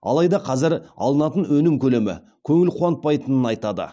алайда қазір алынатын өнім көлемі көңіл қуантпайтынын айтады